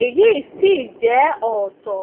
èyí sì jé òótó